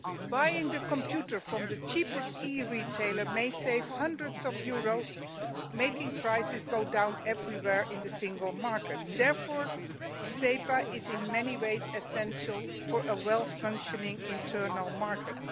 Buying a computer from the cheapest EU retailer may save hundreds of euros, making prices go down everywhere in the single market. Therefore SEPA is in many ways essential for a well functioning internal market.